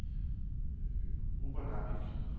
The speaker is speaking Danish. Upernavik